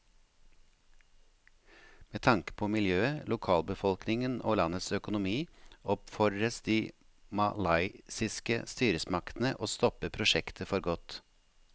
Med tanke på miljøet, lokalbefolkningen og landets økonomi oppfordres de malaysiske styresmaktene til å stoppe prosjektet for godt.